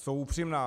Jsou upřímná.